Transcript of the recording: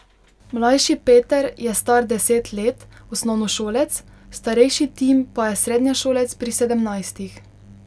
Mlajši Peter je star deset let, osnovnošolec, starejši Tim pa je srednješolec pri sedemnajstih.